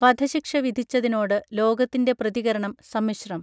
വധശിക്ഷ വിധിച്ചതിനോട് ലോകത്തിൻറെ പ്രതികരണം സമ്മിശ്രം